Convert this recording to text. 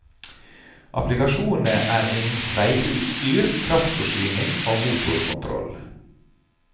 Applikasjonene er innen sveiseutstyr, kraftforsyning og motorkontroll.